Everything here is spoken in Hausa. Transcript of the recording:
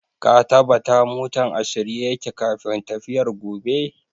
Ka tabata motan a shirye yake kafin tafiyar gobe!